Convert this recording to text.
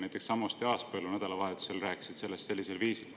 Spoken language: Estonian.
Näiteks Samost ja Aaspõllu nädalavahetusel rääkisid sellest sellisel viisil.